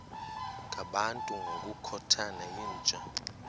ngabantu ngokukhothana yinja